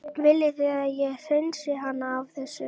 Viljið þið að ég hreinsið hana af þessu?